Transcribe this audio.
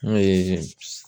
N'o ye pis